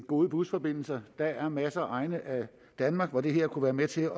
gode busforbindelser der er masser af egne i danmark hvor det her kunne være med til